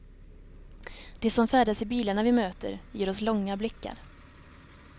De som färdas i bilarna vi möter ger oss långa blickar.